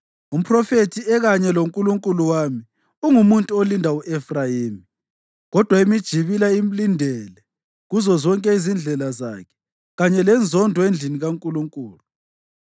Umphrofethi, ekanye loNkulunkulu wami, ungumuntu olinda u-Efrayimi, kodwa imijibila imlindele kuzozonke izindlela zakhe, kanye lenzondo endlini kaNkulunkulu.